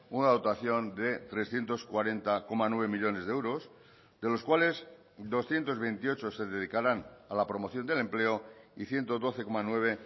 una dotación de trescientos cuarenta coma nueve millónes de euros de los cuales doscientos veintiocho se dedicarán a la promoción del empleo y ciento doce coma nueve